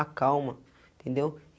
acalma, entendeu?